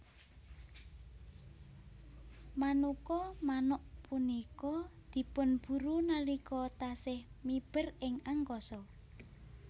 Manuka manuk punika dipunburu nalika taksih miber ing angkasa